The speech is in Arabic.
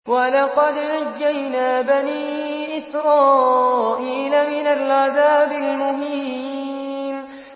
وَلَقَدْ نَجَّيْنَا بَنِي إِسْرَائِيلَ مِنَ الْعَذَابِ الْمُهِينِ